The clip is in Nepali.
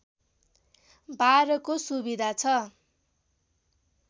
बारको सुविधा छ